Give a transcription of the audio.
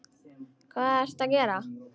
Hvað ertu að gera?